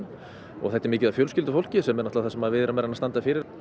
og þetta er mikið af fjölskyldufólki sem er náttúrulega það sem við erum að reyna standa fyrir